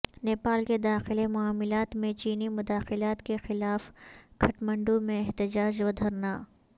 نیپال کے داخلی معاملات میں چینی مداخلت کے خلاف کٹھمنڈو میں احتجاج ودھرنا